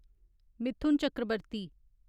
Mithun Chakraborty